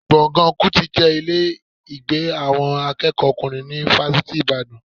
Gbọ̀ngàn Kútì jẹ́ ilé ìgbé àwọn akẹ́kọ̀ọ́kùnrin ni Fásitì Ìbàdàn